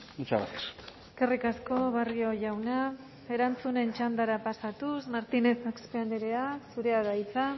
muchas gracias eskerrik asko barrio jauna erantzunen txandara pasatuz martinez axpe andrea zurea da hitza